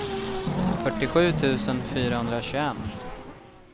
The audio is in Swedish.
fyrtiosju tusen fyrahundratjugoett